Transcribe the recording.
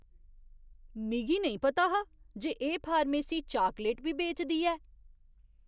मिगी नेईं पता हा जे एह् फार्मेसी चाकलेट बी बेचदी ऐ!